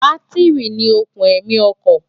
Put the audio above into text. bátírì ni òkùn ẹ̀mí ọkọ̀